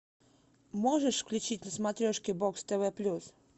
можешь включить на смотрешке бокс тв плюс